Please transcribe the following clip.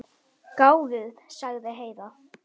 Gáfuð, sagði Heiða.